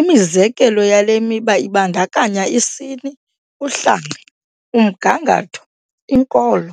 Imizekelo yale miba ibandakanya isini, uhlanga, umgangatho, inkolo,